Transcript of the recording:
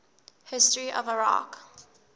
history of iraq